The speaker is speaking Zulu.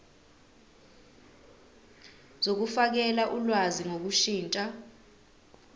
zokufakela ulwazi ngokushintsha